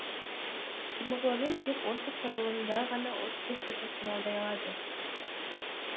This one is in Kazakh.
гемоглобин тек осы құрылымда ғана оттекті тасымалдай алады